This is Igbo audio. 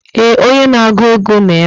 ee, onye na-agụ egwu nọ ebe a